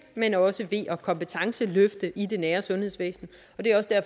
men også ved at kompetenceløfte i det nære sundhedsvæsen